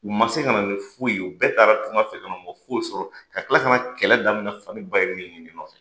U ma se ka ni foyi ye u bɛɛ taara tunga fɛ ka na u ma foyi sɔrɔ ka tila ka na kɛlɛ daminɛ fa ni ba ye min ɲini nɔfɛ